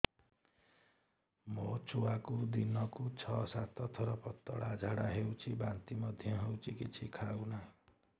ମୋ ଛୁଆକୁ ଦିନକୁ ଛ ସାତ ଥର ପତଳା ଝାଡ଼ା ହେଉଛି ବାନ୍ତି ମଧ୍ୟ ହେଉଛି କିଛି ଖାଉ ନାହିଁ